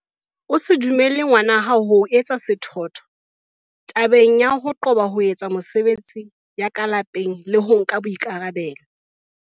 O se dumelle ngwana hao ho etsa sethwathwa thebe ya ho qoba ho etsa mesebetsi ya ka lapeng le ho nka boikarabelo.